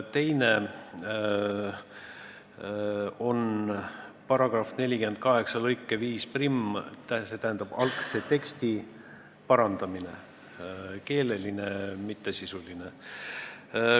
Teine on § 48 lõike 51 algse teksti parandamine – keeleline, mitte sisuline.